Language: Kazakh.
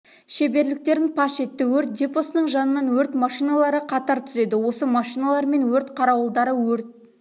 шеберліктерін паш етті өрт депосыгың жанынан өрт машиналары қатар түзеді осы машиналармен өрт қарауылдары өрт